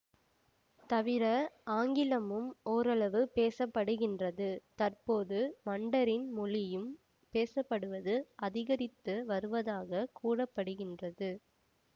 தவிர ஆங்கிலமும் ஓரளவு பேசப்படுகின்றது தற்போது மண்டரின் மொழியும் பேசப்படுவது அதிகரித்து வருவதாக கூற படுகின்றது